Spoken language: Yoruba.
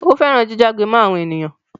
Ó fẹ́ràn jíjágbe mọ́ àwọn ènìyàn.